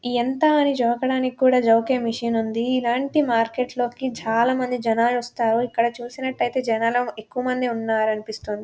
యెంత అని జోకా డానికి కూడా జోకే మెషిన్ ఉంది ఇలాంటి మార్కెట్ లోకి చాల మంది జనాలూ ఒస్తారు ఇక్కడ చూసినట్టయితే జనాలు ఎక్కువ మంది ఉన్నారు అన్పిస్తుంది.